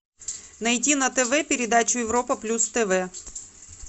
найти на тв передачу европа плюс тв